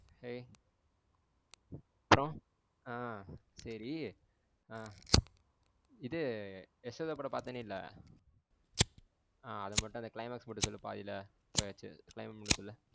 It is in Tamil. ஹேய் hello ஆ சேரி ஆ இது யசோதா படம் பாத்தேன்ல? ஆ அத மட்டும் அந்த climax மட்டும் சொல்லு பாதில போயாச்சு climax மட்டும் சொல்லு.